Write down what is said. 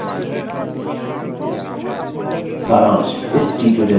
सारांश इस tutorial में